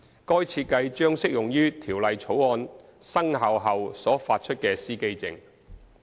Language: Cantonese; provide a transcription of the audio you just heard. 該設計將適用於《條例草案》生效後所發出的司機證。